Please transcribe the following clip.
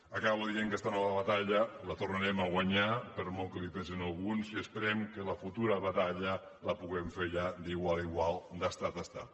acabo dient que esta nova batalla la tornarem a guanyar per molt que pesi a alguns i esperem que la futura batalla la puguem fer ja d’igual a igual d’estat a estat